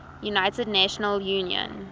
unita national union